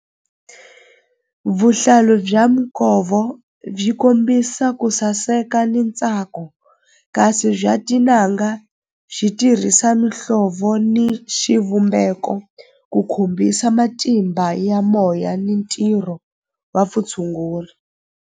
Vuhlalu bya byi kombisa ku saseka ni ntsako kasi bya tin'anga byi tirhisa mihlovo ni xivumbeko ku khumbisa matimba ya moya ni ntirho wa vutshunguri.